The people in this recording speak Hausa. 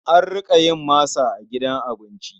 An riƙa yin masa a gidan abinci.